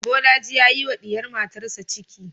Bolaji ya yi wa diyar matarsa ciki